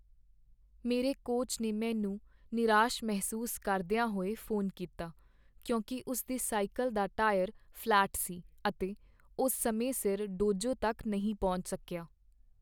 ਮੇਰੇ ਕੋਚ ਨੇ ਮੈਨੂੰ ਨਿਰਾਸ਼ ਮਹਿਸੂਸ ਕਰਦਿਆਂ ਹੋਏ ਫੋਨ ਕੀਤਾ ਕਿਉਂਕਿ ਉਸ ਦੀ ਸਾਈਕਲ ਦਾ ਟਾਇਰ ਫ਼ਲੈਟ ਸੀ ਅਤੇ ਉਹ ਸਮੇਂ ਸਿਰ ਡੋਜੋ ਤੱਕ ਨਹੀਂ ਪਹੁੰਚ ਸਕਿਆ।